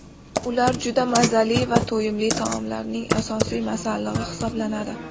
Ular juda mazali va to‘yimli taomlarning asosiy masallig‘i hisoblanadi.